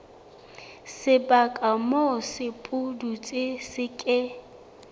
sebaka moo sepudutsi se ke